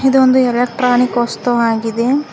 ಇದು ಒಂದು ಎಲೆಕ್ಟ್ರಾನಿಕ್ ವಸ್ತು ಆಗಿದೆ.